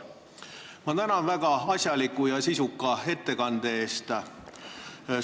Ma tänan väga asjaliku ja sisuka ettekande eest!